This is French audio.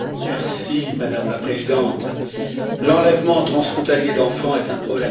Madame la Présidente, l'enlèvement transfrontalier d'enfants est un problème grave.